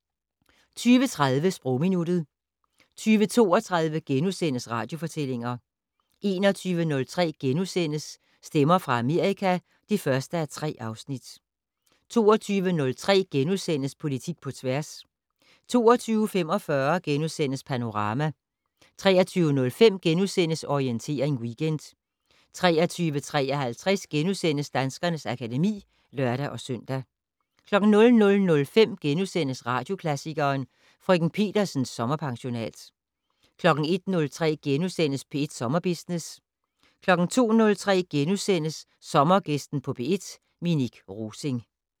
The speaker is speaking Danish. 20:30: Sprogminuttet 20:32: Radiofortællinger * 21:03: Stemmer fra Amerika (1:4)* 22:03: Politik på tværs * 22:45: Panorama * 23:05: Orientering Weekend * 23:53: Danskernes akademi *(lør-søn) 00:05: Radioklassikeren: Frk. Petersens sommerpensionat * 01:03: P1 Sommerbusiness * 02:03: Sommergæsten på P1: Minik Rosing *